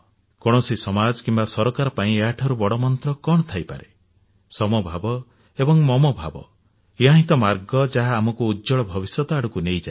କୌଣସି ସମାଜ କିମ୍ବା ସରକାର ପାଇଁ ଏହାଠାରୁ ବଡ ମନ୍ତ୍ରୀ କଣ ଥାଇପାରେ ସମଭାବ ଏବଂ ମମ ଭାବ ଏହା ହିଁ ତ ମାର୍ଗ ଯାହା ଆମକୁ ଉଜ୍ଜ୍ୱଳ ଭବିଷ୍ୟତ ଆଡକୁ ନେଇଯାଏ